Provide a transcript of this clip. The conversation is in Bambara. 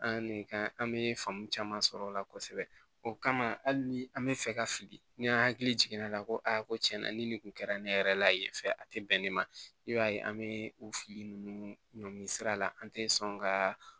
An ne kan an be faamu caman sɔrɔ o la kosɛbɛ o kama hali ni an be fɛ ka fili ni an hakili jiginna ko a ko tiɲɛ na ni nin kun kɛra ne yɛrɛ la yen fɛ a tɛ bɛn ne ma i b'a ye an bɛ o fili ninnu ɲɔngiri sira la an tɛ sɔn ka